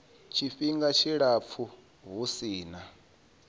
tshifhinga tshilapfu hu si na